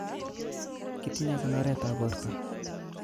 Kitinye konoretab borto